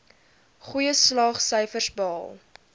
goeie slaagsyfers behaal